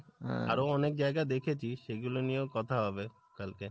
আরো অনেক জায়গা দেখেছি সেগুলো নিয়েও কথা হবে, কালকে।